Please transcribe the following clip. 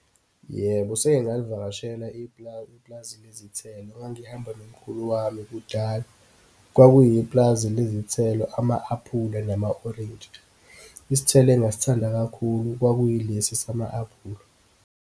Yebo, sengike ngalivakashela ipulazi, ipulazi lezithelo. Ngangihamba nomkhulu wami kudala. Kwakuyipulazi lezithelo, ama-apula, nama orintshi. Isithelo engasithanda kakhulu kwakuyilesi sama apula.